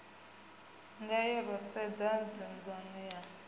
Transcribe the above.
ngayo ro sedza nzudzanyo ya